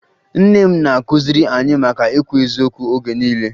Nne m na-akụziri anyị maka ikwu eziokwu oge niile